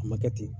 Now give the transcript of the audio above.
A ma kɛ ten